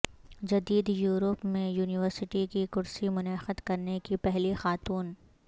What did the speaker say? جدید یورپ میں یونیورسٹی کی کرسی منعقد کرنے کی پہلی خاتون